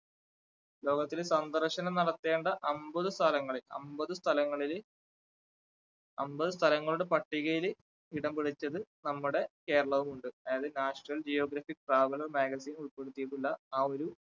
ലോകത്തില് സന്ദർശനം നടത്തേണ്ട അമ്പത് സ്ഥലങ്ങളിൽ അമ്പത് സ്ഥലങ്ങളില് അമ്പത് സ്ഥലങ്ങളുടെ പട്ടികയില് ഇടം പിടിച്ചതിൽ നമ്മുടെ കേരളവും ഉണ്ട്. അതായത് national geographic traveller magazine ഉൾപ്പെടുത്തിയിട്ടുള്ള ആ ഒരു